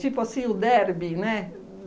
Tipo assim, o derby, né?